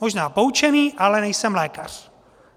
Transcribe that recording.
Možná poučený, ale nejsem lékař.